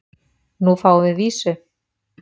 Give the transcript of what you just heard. Nú fáum við vísu?